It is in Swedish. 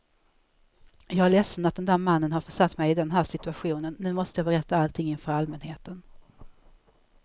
Jag är ledsen att den där mannen har försatt mig i den här situationen, nu måste jag berätta allting inför allmänheten.